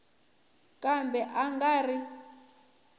kambe a a nga ri